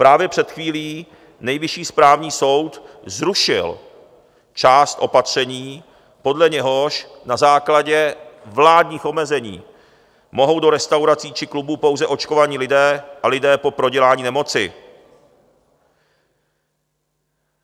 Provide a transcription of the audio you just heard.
Právě před chvílí Nejvyšší správní soud zrušil část opatření, podle něhož na základě vládních omezení mohou do restaurací či klubů pouze očkovaní lidé a lidé po prodělání nemoci.